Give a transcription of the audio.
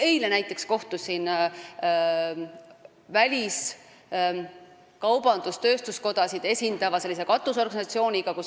Eile näiteks kohtusin kaubandus-tööstuskodasid esindava katusorganisatsiooniga.